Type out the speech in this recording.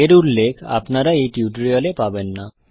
এর উল্লেখ আপনারা এই টিউটোরিয়াল এ পাবেন না